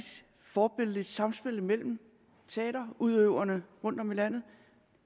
forbilledligt samspil mellem teaterudøverne rundtom i landet